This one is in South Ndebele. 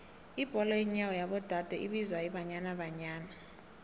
ibholo yenyawo yabo dade ibizwa ibanyana banyana